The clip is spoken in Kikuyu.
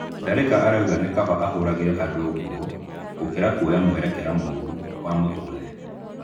Tharĩka arauga nĩ kaba ahũragĩre andũ nguo gũkĩra kuoya mũerekera mũru wa mũtũrĩre.